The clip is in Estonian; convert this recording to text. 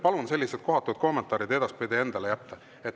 Palun sellised kohatud kommentaarid edaspidi endale jätta.